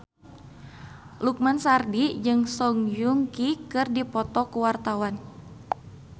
Lukman Sardi jeung Song Joong Ki keur dipoto ku wartawan